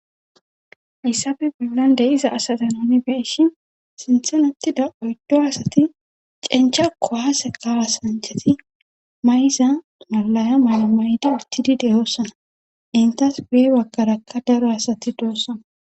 yssafe bollan de7iza asata noni beishi sinthenetida oyddo asati cencha kowaase kaawa sancheti mayza malaya mala may7da urtidi deyoossana intas bee baggarakka daro asati doossana